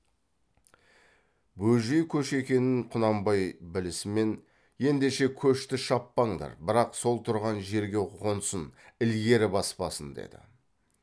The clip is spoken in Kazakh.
бөжей көші екенін құнанбай білісімен ендеше көшті шаппаңдар бірақ сол тұрған жерге қонсын ілгері баспасын деді